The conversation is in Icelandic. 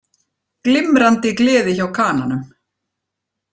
Glimrandi gleði hjá Kananum